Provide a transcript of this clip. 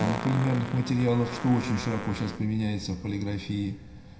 ээ полимерных материалов что очень широко сейчас применяется в полиграфии